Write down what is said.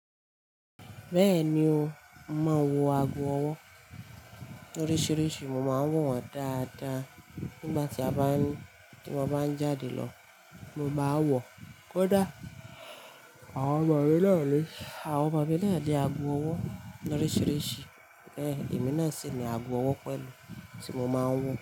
Bẹ́ẹ̀ni o, mo máa ń wo ago ọwọ́ oríṣiríṣi, mo máa ń wọ̀ wọ́n dáadáa nígbà tí a bá ń, tí mo bá ń jáde lọ mo bá wọ̀. Kódà àwọn ọmọ mi náà ni, àwọn ọmọ ni náà ni ago ọwọ́ oríṣiríṣi. Heh, èmi náà sì ni ago ọwọ́ pẹ̀lú tí mo máa ń wọ̀